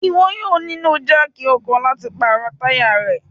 Iwọ yóò nilo jáákí ọkọ lati paro taya rẹ